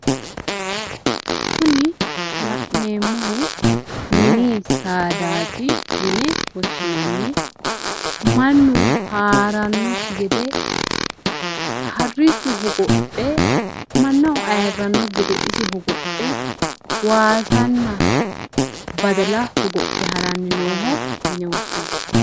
kuni la'neemmohu mini saadaati yine woshshinanni, mannu haarannokki gede isi hogophe mannaho ayiirrannokki gede harichu waasanna badala hogophe haranni nooho yine woshshinanni.